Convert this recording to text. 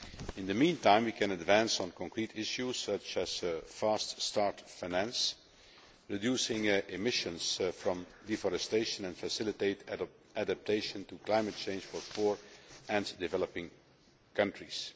In the meantime, we can advance on concrete issues, such as fast start finance, reduce emissions from deforestation, and facilitate adaptation to climate change for poor and developing countries.